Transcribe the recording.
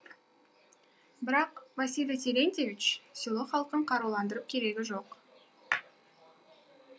бірақ василий терентьевич село халқын қаруландырып керегі жоқ